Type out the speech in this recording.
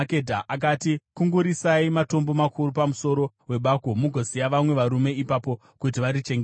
akati, “Kungurutsirai matombo makuru pamuromo webako, mugoisa vamwe varume ipapo kuti varichengete.